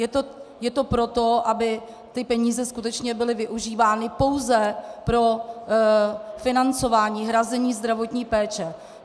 Je to proto, aby ty peníze skutečně byly využívány pouze pro financování, hrazení zdravotní péče.